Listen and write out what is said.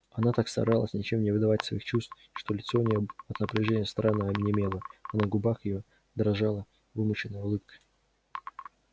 она так старалась ничем не выдавать своих чувств что лицо у неё от напряжения странно онемело а на губах её дрожала вымученная улыбка